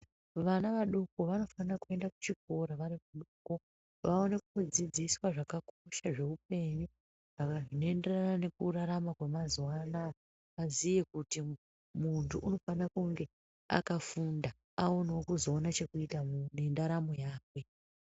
Vana vadoko vanofanira kuenda kuchikora vari vadoko vaone kudzidziswa zvakakosha zveupenyu zvinoenderana nekurarama kwemazuva aziye. Vaziye kuti muntu unofanira kunge akafunda aonevo kuzoona chekuita nendaramo yakwe.